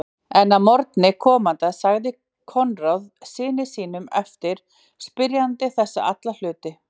En að morgni komanda sagði Koðrán syni sínum eftir spyrjanda þessa alla hluti.